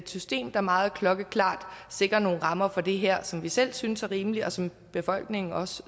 system der meget klokkeklart sikrer nogle rammer for det her som vi selv synes er rimelige og som befolkningen også